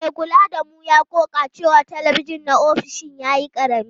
Mai kula da mu ya ƙoƙa da cewa talabijin na ofishin ya yi ƙarami.